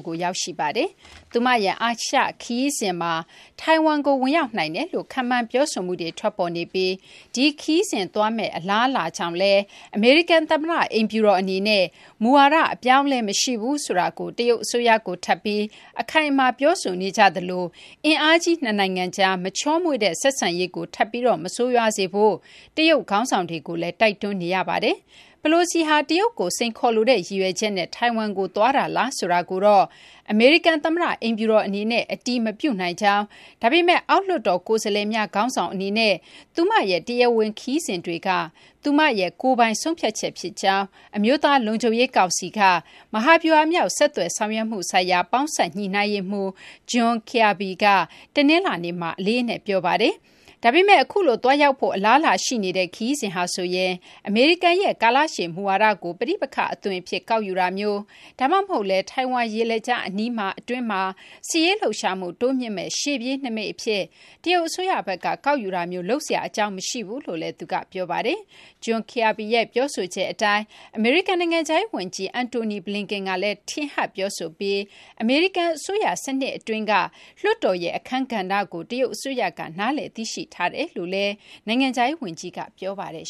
ကို ရောက်ရှိပါတယ်။ သူမရဲ့ အာရှ ခရီးစဉ်မှာ ထိုင်ဝမ်ကို ဝင်ရောက်နိုင်တယ်လို့ ခန့်မှန်းပြောဆိုမှုတွေ ထွက်ပေါ်နေပြီး ဒီခရီးစဉ် သွားမယ့် အလားအလာကြောင့်လည်း အမေရိကန် သမ္မတ အိမ်ဖြူတော် အနေနဲ့ မူဝါဒ အပြောင်းအလဲ မရှိဘူးဆိုတာကို တရုတ်အစိုးရကို ထပ်ပြီး အခိုင်အမာ ပြောဆိုနေကြသလို အင်အားကြီး နှစ်နိုင်ငံကြား မချောမွေ့တဲ့ ဆက်ဆံရေးကို ထပ်ပြီး မဆိုးရွားစေဖို့ တရုတ် ခေါင်းဆောင်တွေကိုလည်း တိုက်တွန်းနေရပါတယ်။ Pelosi ဟာ တရုတ်ကို စိန်ခေါ်လိုတဲ့ ရည်ရွယ်ချက်နဲ့ ထိုင်ဝမ်ကို သွားတာလားဆိုတာကိုတော့ အမေရိကန် သမ္မတ အိမ်ဖြူတော် အနေနဲ့ အတည်မပြုနိုင်ကြောင်း၊ ဒါပေမဲ့ အောက်လွှတ်တော် ကိုယ်စားလှယ်များ ခေါင်းဆောင် အနေနဲ့ သူမရဲ့ တရားဝင် ခရီးစဉ်တွေက သူမရဲ့ ကိုယ်ပိုင် ဆုံးဖြတ်ချက် ဖြစ်ကြောင်း အမျိုးသား လုံခြုံရေး ကောင်စီက မဟာဗျူဟာမြောက် ဆက်သွယ်ဆောင်ရွက်မှု ဆိုင်ရာပေါင်းစပ် ညှိနှိုင်းရေးမှူး John Kirby က တနလာၤနေ့မှာ အလေးအနက် ပြောပါတယ်။ ဒါပေမဲ့ အခုလို သွားရောက်ဖို့ အလားအလာ ရှိနေတဲ့ ခရီးစဉ်ဟာဆိုရင် အမေရိကန်ရဲ့ ကာလရှည် မူဝါဒကို ပဋိပက္ခ အသွင်အဖြစ် ကောက်ယူတာမျိုး ဒါမှမဟုတ်လည်း ထိုင်ဝမ် ရေလက်ကြား အနီးမှာ အတွင်းမှာ စစ်ရေး လှုပ်ရှားမှု တိုးမြှင့်မယ့် ရှေ့ပြေးနိမိတ် အဖြစ် တရုတ် အစိုးရဘက်က ကောက်ယူတာမျိုး လုပ်စရာ အကြောင်းမရှိဘူးလို့လည်း သူက ပြောပါတယ်။ John Kirby ရဲ့ ပြောဆိုချက် အတိုင်း အမေရိကန် နိုင်ငံခြားရေး ဝန်ကြီး Antony Blinken ကလည်း ထင်ဟပ် ပြောဆိုပြီး အမေရိကန် အစိုးရ စနစ် အတွင်းက လွှတ်တော်ရဲ့ အခန်းကဏ္ဍကို တရုတ် အစိုးရက နားလည် သိရှိထားကြောင်းလည်း နိုင်ငံခြားရေး ဝန်ကြီးက ပြောပါတယ်